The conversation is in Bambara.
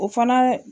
O fana